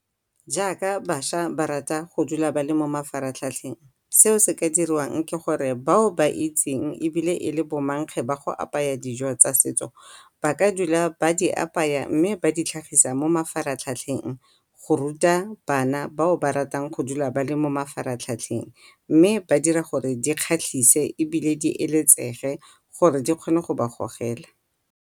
Jaaka bašwa ba rata go dula ba le mo mafatlhatlheng seo se ka diriwang ke gore bao ba itseng ebile e le bo mankge ba go apaya dijo tsa setso ba ka dula ba di apaya mme ba di tlhagisa mo mafatlhatlheng go ruta bana bao ba ratang go dula ba le mo mafatlhatlheng mme ba dira gore di kgatlhise ebile di eletsege gore di kgone go ba gogela.